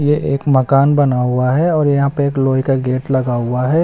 ये एक मकान बना हुआ है और यहां पे एक लोहे का गेट लगा हुआ है।